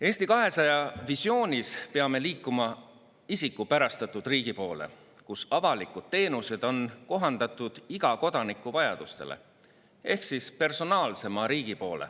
Eesti 200 visioonis peame liikuma isikupärastatud riigi poole, kus avalikud teenused on kohandatud iga kodaniku vajadustele, ehk personaalsema riigi poole.